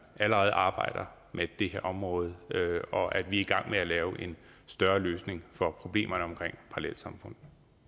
allerede arbejder med det her område og at vi er i gang med at lave en større løsning for problemerne omkring parallelsamfund